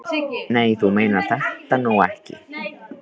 Nei, þú meinar þetta nú ekki.